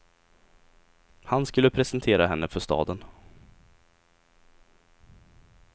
Han skulle presentera henne för staden.